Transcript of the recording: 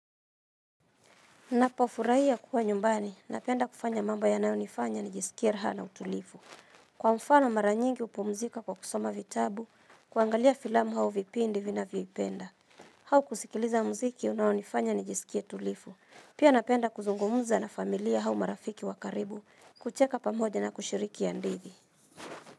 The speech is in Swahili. Napofurahia kuwa nyumbani, napenda kufanya mambo yanayonifanya nijisikie raha na utulivu. Kwa mfano mara nyingi hupumzika kwa kusoma vitabu, kuangalia filamu au vipindi vinavyoipenda. Au kusikiliza muziki unaonifanya nijisikie tulivu. Pia napenda kuzungumza na familia au marafiki wa karibu, kucheka pamoja na kushiriki hadithi.